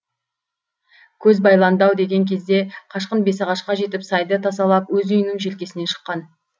көз байланды ау деген кезде қашқын бесағашқа жетіп сайды тасалап өз үйінің желкесінен шыққан